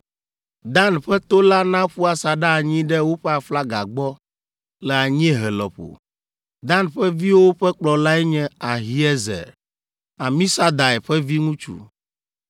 Dan ƒe to la naƒu asaɖa anyi ɖe woƒe aflaga gbɔ le anyiehe lɔƒo. Dan ƒe viwo ƒe kplɔlae nye Ahiezer, Amisadai ƒe viŋutsu,